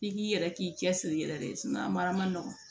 I k'i yɛrɛ k'i cɛsiri yɛrɛ de ye a mara ma nɔgɔn